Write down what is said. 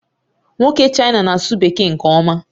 Nwoke China na-asụ Bekee nke ọma